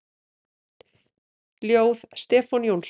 Ljóð: Stefán Jónsson